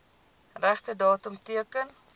regte datum teken